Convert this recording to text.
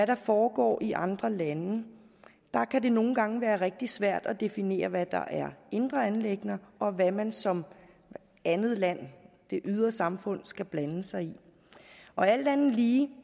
der foregår i andre lande at det nogle gange kan være rigtig svært at definere hvad der er indre anliggender og hvad man som andet land det ydre samfund skal blande sig i alt andet lige